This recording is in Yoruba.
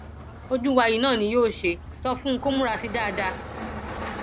ojú wa yìí náà ni yóò ṣe é sọ fún un kó múra sí i dáadáa